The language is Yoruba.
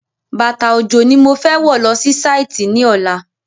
Bàtà òjò ni mo fẹ́ wọ̀ lọ sí Sáìtì ní ọ̀la